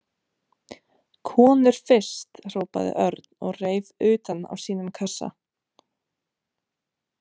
Konur fyrst hrópaði Örn og reif utan af sínum kassa.